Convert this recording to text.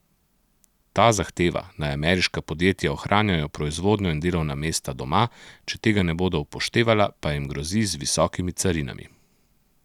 Ta zahteva, naj ameriška podjetja ohranjajo proizvodnjo in delovna mesta doma, če tega ne bodo upoštevala, pa jim grozi z visokimi carinami.